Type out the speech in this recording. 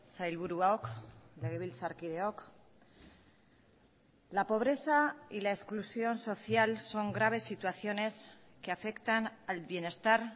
sailburuok legebiltzarkideok la pobreza y la exclusión social son graves situaciones que afectan al bienestar